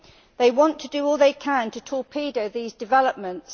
They want to do all they can to torpedo these developments.